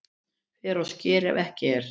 Fer á sker ef ekki er